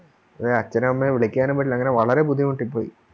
അച്ഛനും അമ്മയേം വിളിക്കാനും പറ്റില്ല അങ്ങനെ വളരെ ബുദ്ധിമുട്ടിപ്പോയി